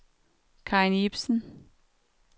Karin Ibsen